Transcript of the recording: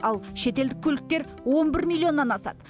ал шетелдік көліктер он бір миллионнан асады